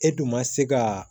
E dun ma se ka